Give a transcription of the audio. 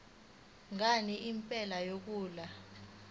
ngani indlela yokuhlola